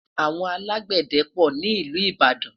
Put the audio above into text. àwọn alágbède pò nílu ìbàdàn